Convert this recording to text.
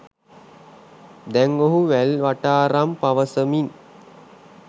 දැන් ඔහු වැල්වටාරම් පවසමින්